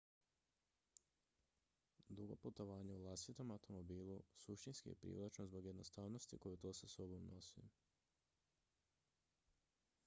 dugo putovanje u vlastitom automobilu suštinski je privlačno zbog jednostavnosti koju to sa sobom nosi